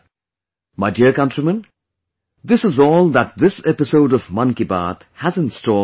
My dear countrymen, this is all that this episode of 'Mann Ki Baat' has in store for you today